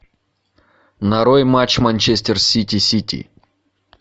нарой матч манчестер сити сити